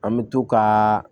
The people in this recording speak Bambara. An bɛ to ka